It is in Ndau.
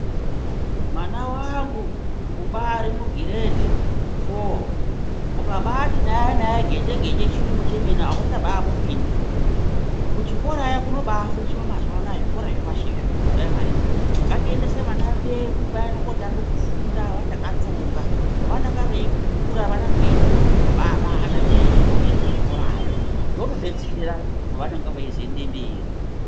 Mwana wangu ubari mugiredhi foo ukabati naye naye geje-geje chiyungu chemene auchabamupindi. Kuchikorayo kunobafundiswa mazuwa anaya kuzvikora zvepashi izvi kuphuraimari. Ngatibaendese vana vedu vaende kotange kufunda vachakatsonga pavanonga veikura vanenge veitokona kubabata zvinenge zveifundiswa kuzvikorayo. Zvinotobetsera pavanenge veizoende mberi.